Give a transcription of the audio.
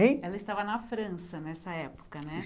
Hein? Ela estava na França nessa época, né?